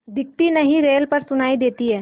दिखती नहीं रेल पर सुनाई देती है